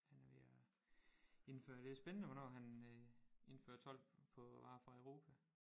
Han er ved at indføre det er spændende hvornår han øh indfører told på varer fra Europa